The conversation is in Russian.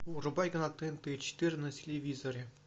врубай канал тнт четыре на телевизоре